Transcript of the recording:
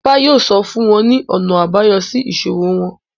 Ifá yóò sọ fún wọn ní ọ̀nà àbáyọ sí ìṣòro wọn